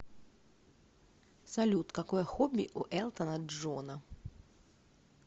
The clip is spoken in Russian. салют какое хобби у элтона джона